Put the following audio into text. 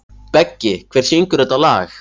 Beggi, hver syngur þetta lag?